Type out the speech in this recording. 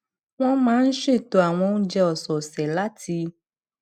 wọn máa ń ṣètò àwọn oúnjẹ ọsẹọsẹ láti